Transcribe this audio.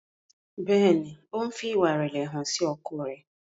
Béèni o ń fí ìwà irẹlẹ hàn ọkọ rẹ.